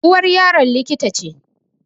Uwar Yaron likita ce